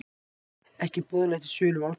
Ekki boðlegt í sölum Alþingis